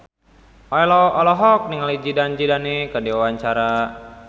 Ello olohok ningali Zidane Zidane keur diwawancara